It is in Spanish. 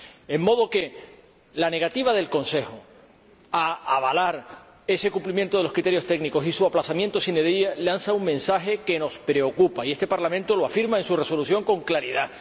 de modo que la negativa del Consejo a avalar ese cumplimiento de los criterios técnicos y su aplazamiento lanza un mensaje que nos preocupa, y este Parlamento lo afirma en su Resolución con claridad.